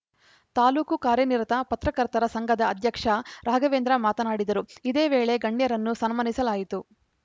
ತಾಲೂಕು ಕಾರ್ಯನಿರತ ಪರ್ತಕರ್ತರ ಸಂಘದ ಅಧ್ಯಕ್ಷ ರಾಘವೇಂದ್ರ ಮಾತನಾಡಿದರು ಇದೇ ವೇಳೆ ಗಣ್ಯರನ್ನು ಸನ್ಮಾನಿಸಲಾಯಿತು